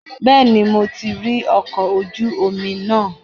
Bẹ́ẹ̀ni, mo ti rí ọkọ̀ ojú omi náà.